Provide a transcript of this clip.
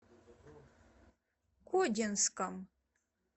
кодинском